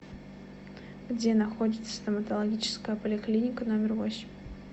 где находится стоматологическая поликлиника номер восемь